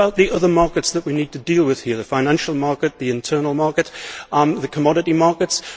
What about the other markets that we need to deal with here the financial market, the internal market, the commodity markets?